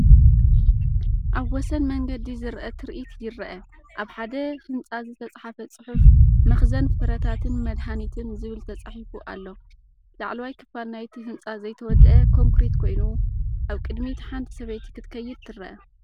ኣብ ወሰን መንገዲ ዝርአ ትርኢት ይርአ፤ ኣብ ሓደ ህንጻ ዝተጻሕፈ ጽሑፍ "መኽዘን ፍረታትን መድሃኒትን" ዝብል ተጻሒፉ ኣሎ። ላዕለዋይ ክፋል ናይቲ ህንጻ ዘይተወድአ ኮንክሪት ኮይኑ፡ ኣብ ቅድሚት ሓንቲ ሰበይቲ ክትከይድ ትርአ።